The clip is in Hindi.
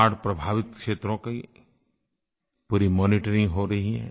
बाढ़ प्रभावित क्षेत्रों की पूरी मॉनिटरिंग हो रही है